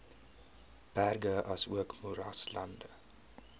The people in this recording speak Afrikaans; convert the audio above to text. berge asook moeraslande